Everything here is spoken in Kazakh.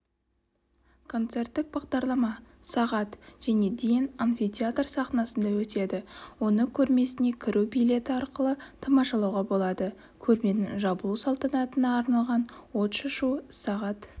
концерттік бағдарлама сағат және дейін амфитеатр сахнасында өтеді оны көрмесіне кіру билеті арқылы тамашалауға болады көрменің жабылу салтанатына арналған отшашу сағат